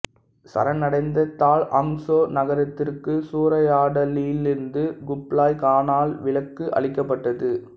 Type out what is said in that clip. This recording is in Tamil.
சரணடைந்ததால் ஹங்சோ நகரத்திற்கு சூறையாடலிலிருந்து குப்லாய் கானால் விலக்கு அளிக்கப்பட்டது